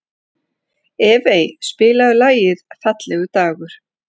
Evey, spilaðu lagið „Fallegur dagur“.